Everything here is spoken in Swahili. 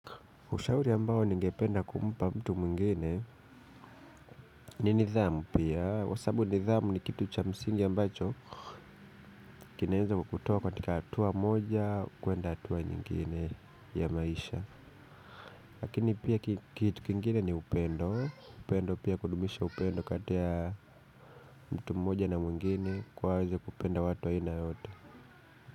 Ushauri ambao ningependa kumpa mtu mwingine. Ni nidhamu pia, kwa sababu nidhamu ni kitu cha msingi ambacho kinaeza kukutoa katika hatua moja kuenda hatua nyingine ya maisha. Lakini pia kitu kingine ni upendo, upendo pia kudumisha upendo kati ya mtu mmoja na mwingine kuwa waweze kupenda watu wa aina yote.